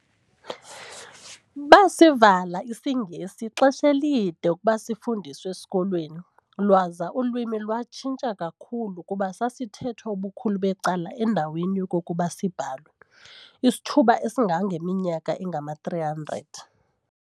Baasivala isiNgesi ixesha elide ukuba sifundiswe ezikolweni, lwaza ulwimi lwatshintsha kakhulu, kuba sasithethwa ubukhulu becala endaweni yokokuba sibhalwe, isithuba esingangeminyaka engama-300.